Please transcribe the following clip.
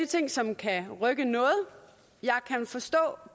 ting som kan rykke noget jeg kan forstå